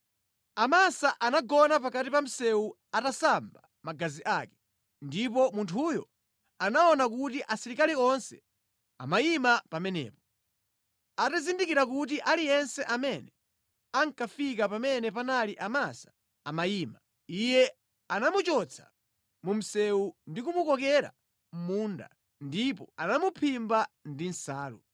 Amasa anagona pakati pa msewu atasamba magazi ake, ndipo munthuyo anaona kuti asilikali onse amayima pamenepo. Atazindikira kuti aliyense amene ankafika pamene panali Amasa amayima, iye anamuchotsa mu msewu ndi kumukokera mʼmunda ndipo anamuphimba ndi nsalu.